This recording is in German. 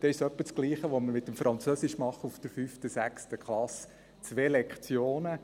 Dann ist es ungefähr dasselbe, wie das, was wir mit dem Französisch in der 5. und 6. Klasse machen: 2 Lektionen.